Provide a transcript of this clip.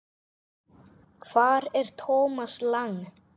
Hvar er Thomas Lang?